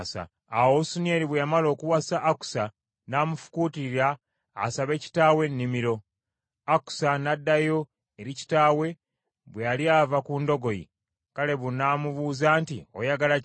Awo Osunieri bwe yamala okuwasa Akusa n’amufukuutirira asabe kitaawe ennimiro; Akusa n’addayo eri kitaawe, bwe yali ava ku ndogoyi, Kalebe n’amubuuza nti, “Oyagala ki?”